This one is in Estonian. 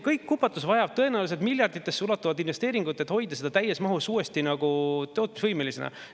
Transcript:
Kogu see kupatus vajab tõenäoliselt miljarditesse ulatuvaid investeeringuid, et hoida seda uuesti täies mahus tootmisvõimelisena.